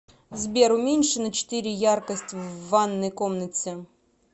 сбер уменьши на четыре яркость в ванной комнате